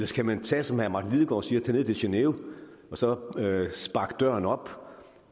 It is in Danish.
skal man tage som herre martin lidegaard siger ned til genève og så sparke døren op